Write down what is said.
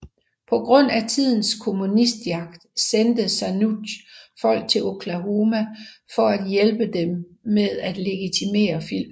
På grund af tidens kommunistjagt sendte Zanuck folk til Oklahoma for at hjælpe med til at legitimere filmen